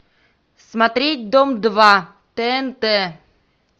смотреть дом два тнт